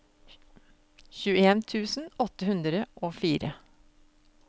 tjueen tusen åtte hundre og fire